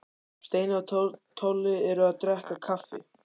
Steini og Tolli eru að drekka kaffi.